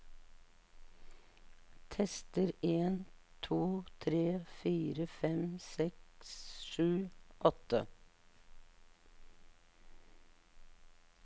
Tester en to tre fire fem seks sju åtte